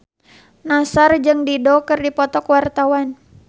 Nassar jeung Dido keur dipoto ku wartawan